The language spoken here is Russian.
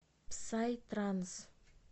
псай транс